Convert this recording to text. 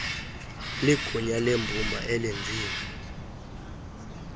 ligunya lembumba elenziwe